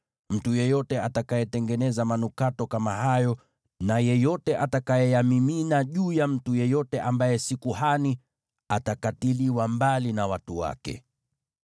Mtu yeyote atakayetengeneza manukato kama hayo na yeyote atakayeyamimina juu ya mtu yeyote ambaye si kuhani atakatiliwa mbali na watu wake.’ ”